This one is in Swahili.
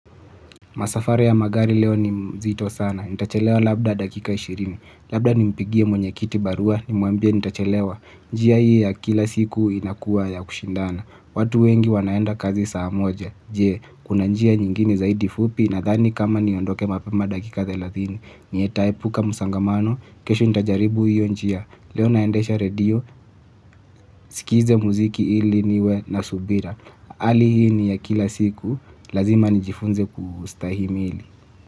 Masafari ya magari leo ni mzito sana. Nitachelewa labda dakika ishirini. Labda ni mpigie mwenye kiti barua ni mwambia nitachelewa. Njia hii ya kila siku inakua ya kushindana. Watu wengi wanaenda kazi saa moja. Je, kuna njia nyingini zaidi fupi nathani kama niondoke mapema dakika thelathini. Nitaepuka msongamano. Kesho nitajaribu hiyo njia. Leo naendesha radio. Sikize muziki hili niwe na subira. Hali hii ni ya kila siku lazima nijifunze kustahimili.